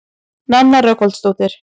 Nanna Rögnvaldardóttir.